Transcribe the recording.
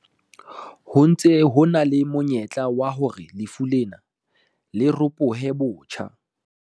Ho ntse ho na le monyetla wa hore lefu lena le ropohe botjha.